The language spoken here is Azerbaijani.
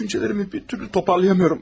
Düşüncələrimi bir türlü toparlayamıyorum.